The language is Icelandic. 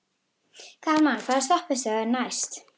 Kalman, hvaða stoppistöð er næst mér?